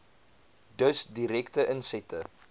dus direkte insette